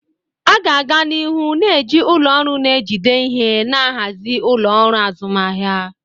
A ga-aga n'ihu na-eji ụlọ ọrụ na-ejide ihe na-ahazi ụlọ ọrụ azụmahịa.